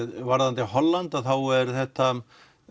varðandi Holland er þetta